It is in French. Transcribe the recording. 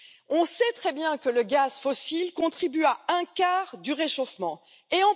On sait très bien que le gaz fossile contribue à un quart du réchauffement climatique.